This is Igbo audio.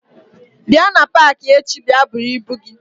bia na paaki echi bia bụrụ ibu gi.